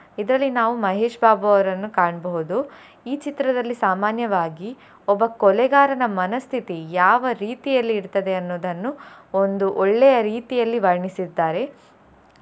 ಇದರಲ್ಲಿ ನಾವು ಮಹೇಶ್ ಬಾಬು ಅವರನ್ನು ಕಾಣ್ಬಹುದು ಈ ಚಿತ್ರದಲ್ಲಿ ಸಾಮಾನ್ಯವಾಗಿ ಒಬ್ಬ ಕೊಲೆಗಾರನ ಮನಸ್ಥಿತಿ ಯಾವ ರೀತಿಯಲ್ಲಿ ಇರ್ತದೆ ಅನ್ನೋದನ್ನು ಒಂದು ಒಳ್ಳೆಯ ರೀತಿಯಲ್ಲಿ ವರ್ಣಿಸಿದ್ದಾರೆ.